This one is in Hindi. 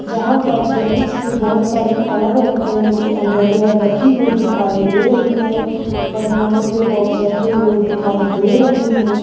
यहां पर जेंट्स की बहुत सारी अलग-अलग तरह की अंडरवियर रखी हुई दिखाई दे रही है बनियानों के बॉक्स रखे हुए दिखाई दे रहे हैं।